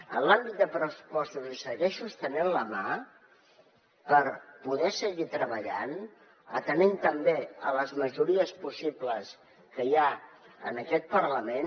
en l’àmbit de pressupostos li segueixo estenent la mà per poder seguir treballant atenent també a les majories possibles que hi ha en aquest parlament